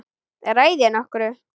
Ræð ég nokkru?